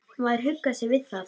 Maður huggar sig við það.